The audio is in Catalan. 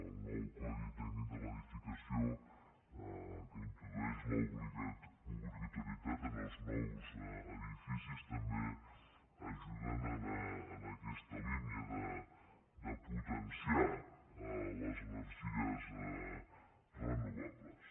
el nou codi tècnic de l’edificació que n’introdueix l’obligato·rietat en els nous edificis també ajuda en aquesta línia de potenciar les energies renovables